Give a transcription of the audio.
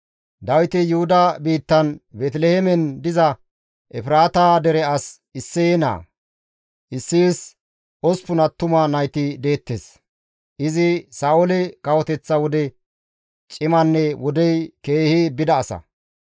Dawiti Yuhuda biittan Beeteliheemen diza Efraata dere as Isseye naa; Isseyes osppun attuma nayti deettes; izi Sa7oole kawoteththa wode cimanne wodey keehi bida asa.